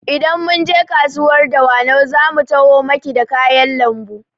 Idan mun je kasuwar Dawanau zamu taho maki da kayan lambu